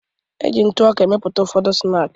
E ji ntụ ọka emepụta ụfọdụ snaakị.